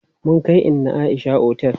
Mun kai inna Aisha otel.